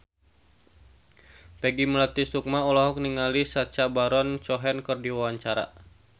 Peggy Melati Sukma olohok ningali Sacha Baron Cohen keur diwawancara